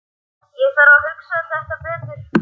Ég þarf að hugsa þetta betur.